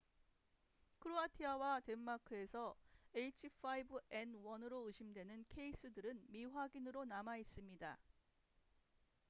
크로아티아와 덴마크에서 h5n1으로 의심되는 케이스들은 미확인으로 남아있습니다